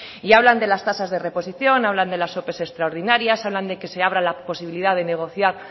y hablan de las tasas de reposición hablan de las ope extraordinarias hablan de que se abra la posibilidad de negociar